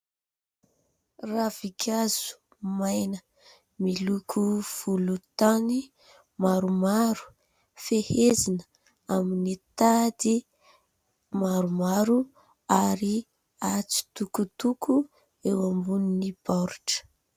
Ravinkazo maina miloko volontany maromaro, fehezina amin'ny tady maromaro ary atsitokotoko eo ambonin'ny baoritra.